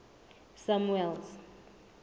samuel's